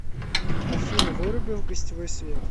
афина выруби в гостевой свет